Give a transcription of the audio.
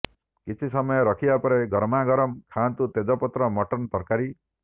କିଛି ସମୟ ରଖିବା ପରେ ଗରମାଗରମ ଖାଆନ୍ତୁ ତେଜପତ୍ର ମଟନ ତରକାରୀ